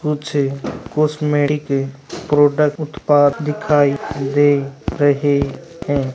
कुछ cosmetic product उत्पाद दिखाई दे रहे है।